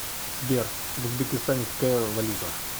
сбер в узбекистане какая валюта